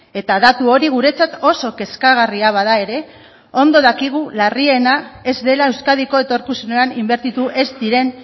eta datu hori guretzat oso kezkagarria bada ere ondo dakigu larriena ez dela euskadiko etorkizunean inbertitu ez diren